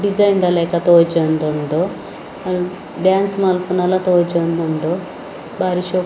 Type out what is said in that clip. ಡಿಸೈನ್‌ದ ಲೆಕ ತೋಜೋಂದುಂಡು ಡಾನ್ಸ್ ಮಲ್ಪುನಲ ತೋಜೋಂದುಂಡು ಬಾರಿ ಶೋಕ್ --